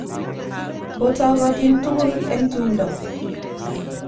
Otogotin tukul eng' tumndo.